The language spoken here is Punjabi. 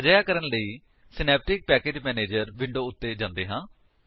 ਅਜਿਹਾ ਕਰਨ ਲਈ ਸਿਨੈਪਟਿਕ ਪੈਕੇਜ ਮੈਨੇਜਰ ਵਿੰਡੋ ਉੱਤੇ ਜਾਂਦੇ ਹਾਂ